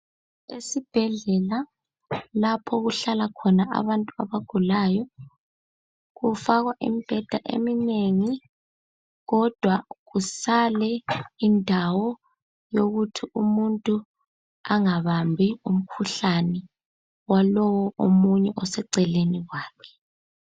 Esibhedlela lapho okuhlala khona abantu abagulayo. kufakwa imbheda eminengi, kodwa kusale indawo yokuthi umuntu angabambi umkhuhlane walowo omunye oseceleni kwakhe.